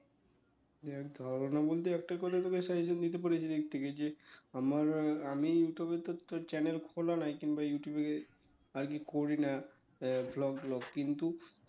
দেখ ধারণা বলতে একটাই কথা তোকে suggestion দিতে পারি এ দিক থেকে যে আমার আমি ইউটিউবে তো তোর channel খোলা নাই কিংবা ইউটিউবে আরকি করি না আহ vlog tlog কিন্তু